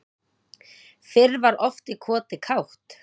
Fyrr var oft í koti kátt